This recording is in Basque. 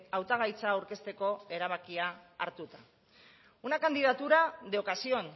hautagaitza aurkezteko erabakia hartuta una candidatura de ocasión